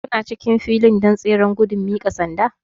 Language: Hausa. Kuna cikin filin don tseren gudun miƙa sanda?